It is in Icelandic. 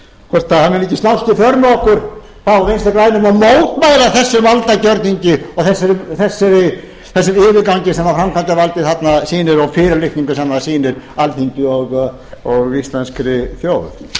hvort hann vilji ekki slást í för með okkur hjá vinstri grænum og mótmæla þessum valdagjörningi og þessum yfirgangi sem framkvæmdarvaldið þarna sýnir og fyrirlitningu sem það sýnir alþingi og íslenskri þjóð